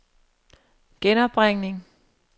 genopringning